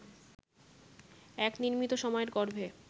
এক নির্মিত সময়ের গর্ভে